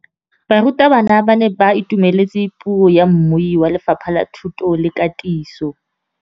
Barutabana ba ne ba itumeletse puô ya mmui wa Lefapha la Thuto le Katiso.